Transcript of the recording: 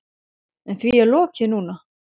En því er lokið núna.